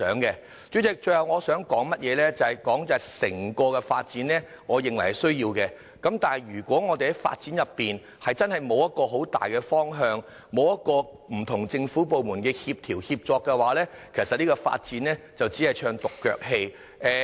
代理主席，我最後想說整個九龍東發展是有需要的，但如果我們的發展沒有很大的方向，沒有不同政府部門的協調和協作，這項發展只是唱獨腳戲。